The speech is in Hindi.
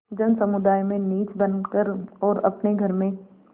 जनसमुदाय में नीच बन कर और अपने घर में